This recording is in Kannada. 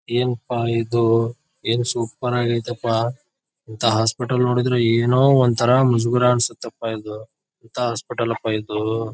ಎನ್ ಪಾ ಇದು ಏನ್ ಸೂಪರ್ ಆಗಿ ಐತಪ್ಪ ಇಂತ ಹಾಸ್ಪಿಟಲ್ ನೋಡಿದ್ರೆ ಏನೋ ಒಂತರ ಮುಜುಗರ ಅನಿಸುತ್ತಪ್ಪಾ ಇದು ಎಂತ ಹೋಸ್ಪಿಟಲಪ್ಪ ಇದು.